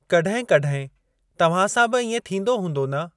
कड॒हिं कड॒हिं तव्हां सां बि इएं थींदो हूंदो न?